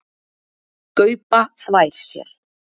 Gaupa þvær sér.